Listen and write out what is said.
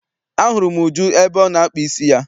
A hụrụ m Uju ebe ọ na-akpa isi ya.